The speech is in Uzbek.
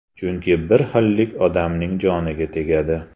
Chunki bir xillik odamning joniga tegadi.